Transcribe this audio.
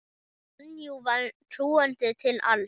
Sonju var trúandi til alls.